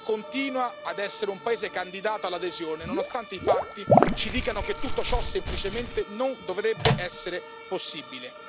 La Turchia continua ad essere un paese candidato all'adesione, nonostante i fatti ci dicano che tutto ciò semplicemente non dovrebbe essere possibile.